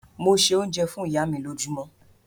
Mo se oúnjẹ fún ìyá mi lójúmọ́.